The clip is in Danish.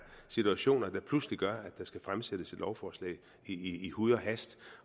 situationer der pludselig gør at der skal fremsættes et lovforslag i huj og hast